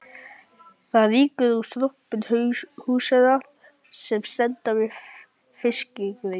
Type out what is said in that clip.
Það rýkur úr strompum húsanna sem standa við fiskreit